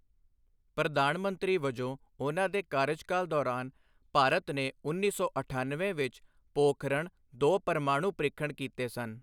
ਪ੍ਰਧਾਨ ਮੰਤਰੀ ਵਜੋਂ ਉਨ੍ਹਾਂ ਦੇ ਕਾਰਜਕਾਲ ਦੌਰਾਨ, ਭਾਰਤ ਨੇ ਉੱਨੀ ਸੌ ਅਠਣਵੇਂ ਵਿੱਚ ਪੋਖਰਣ ਦੋ ਪਰਮਾਣੂ ਪ੍ਰੀਖਣ ਕੀਤੇ ਸਨ।